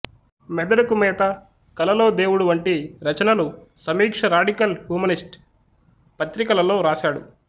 మెదడుకు మేత కలలో దేవుడు వంటి రచనలు సమీక్ష రాడికల్ హూమనిస్ట్ పత్రికలలో వ్రాశాడు